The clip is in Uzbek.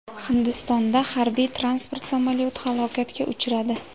Hindistonda harbiy-transport samolyoti halokatga uchradi.